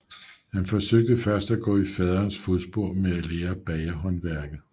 Han forsøgte først at gå i faderens fodspor med at lære bagerhåndværket